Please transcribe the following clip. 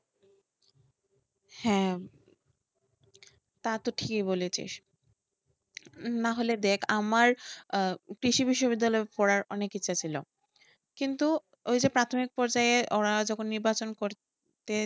হ্যাঁ, তা তুই ঠিকই বলেছিস। নাহলে দেখ আমার আহ বিশ্ববিদ্যালয়ে পড়ার অনেক ইচ্ছা ছিল, কিন্তু ওই যে প্রাথমিক পর্যায়ে ওরা যখন নির্বাচন করতে